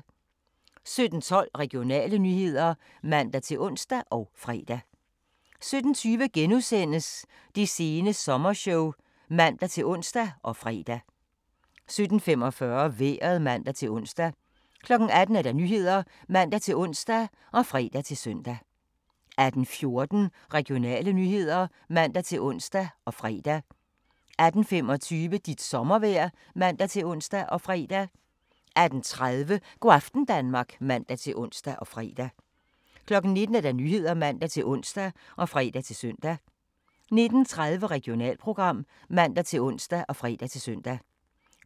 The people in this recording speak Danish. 17:12: Regionale nyheder (man-ons og fre) 17:20: Det sene sommershow *(man-ons og fre) 17:45: Vejret (man-ons) 18:00: Nyhederne (man-ons og fre-søn) 18:14: Regionale nyheder (man-ons og fre) 18:25: Dit sommervejr (man-ons og fre) 18:30: Go' aften Danmark (man-ons og fre) 19:00: Nyhederne (man-ons og fre-søn) 19:30: Regionalprogram (man-ons og fre-søn)